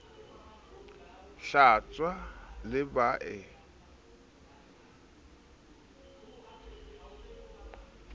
hlwatswa sebae ka letoto la